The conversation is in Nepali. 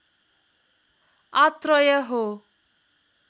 आत्रय हो